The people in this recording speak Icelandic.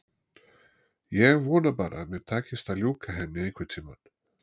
Ég vona bara að mér takist að ljúka henni einhvern tíma.